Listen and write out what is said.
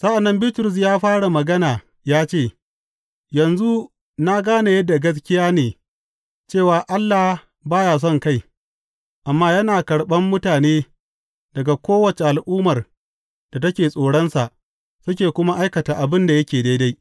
Sa’an nan Bitrus ya fara magana ya ce, Yanzu na gane yadda gaskiya ne cewa Allah ba ya sonkai amma yana karɓan mutane daga kowace al’ummar da take tsoronsa suke kuma aikata abin da yake daidai.